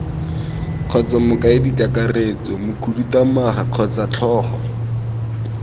kgotsa mokaedikakaretso mokhuduthamaga kgotsa tlhogo